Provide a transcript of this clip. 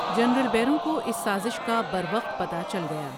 General بیروں کو اس سازش کا بروقت پتہ چل گیا ۔